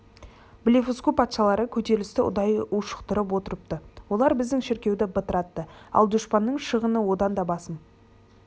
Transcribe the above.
блефуску патшалары көтерілісті ұдайы ушықтырып отырыпты олар біздің шіркеуді бытыратты ал дұшпанның шығыны одан да басым